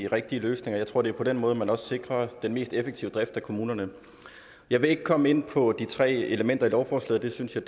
de rigtige løsninger jeg tror det er på den måde man også sikrer den mest effektive drift af kommunerne jeg vil ikke komme ind på de tre elementer i lovforslaget det synes jeg